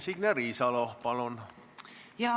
Signe Riisalo, palun!